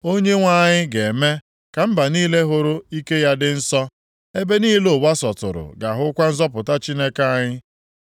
Onyenwe anyị ga-eme ka mba niile hụrụ ike ya dị nsọ; ebe niile ụwa sọtụrụ ga-ahụkwa nzọpụta Chineke anyị.